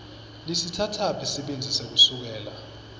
lisitsatsaphi sibindzi sekusukela